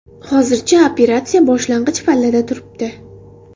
Hozircha operatsiya boshlang‘ich pallada turibdi.